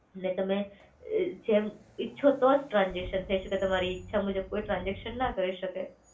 ને તમે જેમ ઈચ્છો તો જ ટ્રાન્સઝેકશન થઈ શકે છે કે તમારી ઈચ્છા મુજબ કોઈ ટ્રાન્સઝેકશન ના કરી શકે.